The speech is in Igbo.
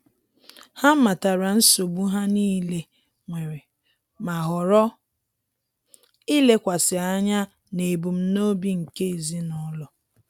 Ha matara nsogbu ha niile nwere, ma ghọrọ ilekwasị anya n'ebumnobi nke ezinụlọ